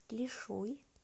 лишуй